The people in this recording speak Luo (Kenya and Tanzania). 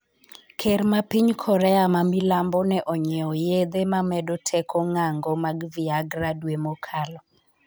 Ker ma piny korea ma milambo ne onyiewo yedhe mamedo teko ng'ango mag Viagra dwe mokalo